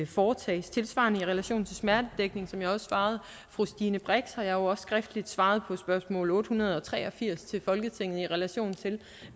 foretages tilsvarende i relation til smertedækning som jeg jo også svarede fru stine brix har jeg også skriftligt svaret på spørgsmål otte hundrede og tre og firs til folketinget i relation til